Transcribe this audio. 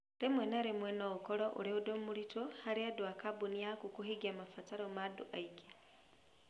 Rĩmwe na rĩmwe no ũkorũo ũrĩ ũndũ mũritũ harĩ andũ a kambuni yaku kũhingia mabataro ma andũ aingĩ